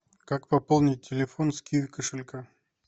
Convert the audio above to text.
как пополнить телефон с киви кошелька